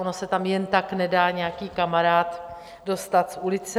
Ono se tam jen tak nedá nějaký kamarád dostat z ulice.